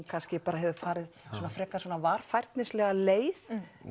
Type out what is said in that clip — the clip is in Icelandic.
kannski hefur farið varfærnislega leið